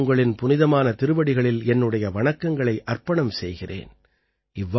நானும் உங்களின் புனிதமான திருவடிகளில் என்னுடைய வணக்கங்களை அர்ப்பணம் செய்கிறேன்